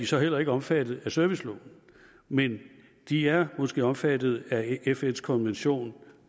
så heller ikke omfattet af serviceloven men de er måske omfattet af fns konvention